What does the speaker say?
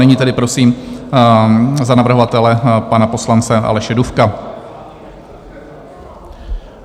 Nyní tedy prosím za navrhovatele pana poslance Aleše Dufka.